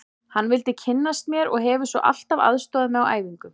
Hann vildi kynnast mér og hefur svo alltaf aðstoðað mig á æfingum.